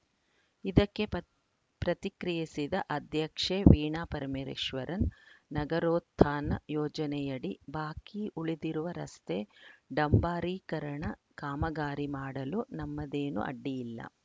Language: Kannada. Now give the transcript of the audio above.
ಇದಕ್ಕೆ ಪತ್ ಪ್ರತಿಕ್ರಿಯಿಸಿದ ಅಧ್ಯಕ್ಷೆ ವೀಣಾ ಪರಮೆರೇಶ್ವರನ್ ನಗರೋತ್ಥಾನ ಯೋಜನೆಯಡಿ ಬಾಕಿ ಉಳಿದಿರುವ ರಸ್ತೆ ಡಾಂಬಾರೀಕರಣ ಕಾಮಗಾರಿ ಮಾಡಲು ನಮ್ಮದೇನು ಅಡ್ಡಿಯಿಲ್ಲ